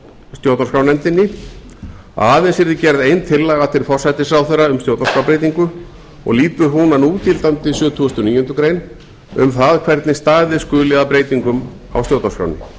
stjórnarskrárnefndinni að aðeins yrði gerð ein tillaga til forsætisráðherra um stjórnarskrárbreytingu og lýtur hún að núgildandi sjötugasta og níundu grein um það hvernig staðið skuli að breytingum á stjórnarskránni